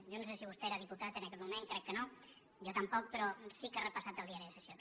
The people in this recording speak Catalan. jo no sé si vostè era diputat en aquell moment crec que no jo tampoc però sí que he repassat el diari de sessions